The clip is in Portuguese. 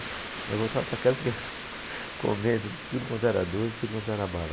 Aí eu voltava para casa comendo tudo quanto era doce, tudo quanto era bala.